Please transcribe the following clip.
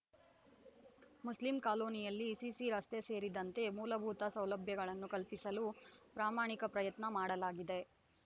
Muslim ಕಾಲೋನಿಯಲ್ಲಿ CC ರಸ್ತೆ ಸೇರಿದಂತೆ ಮೂಲಭೂತ ಸೌಲಭ್ಯಗಳನ್ನು ಕಲ್ಪಿಸಲು ಪ್ರಮಾಣಿಕ ಪ್ರಯತ್ನ ಮಾಡಲಾಗಿದೆ